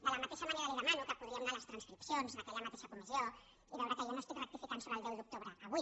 de la mateixa manera li demano que podríem anar a les transcripcions d’aquella mateixa comissió i veure que jo no estic rectificant sobre el deu d’octubre avui